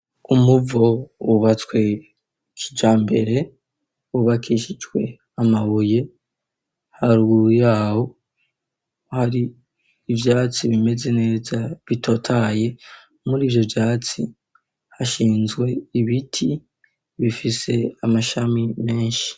Umuvo wubatswe kijyambere wubakishijwe amabuye, haruguru yawo hari ivyatsi bimeze neza bitotaye, mur' ivyo vyatsi hashinzwe ibiti bifise amashami menshi.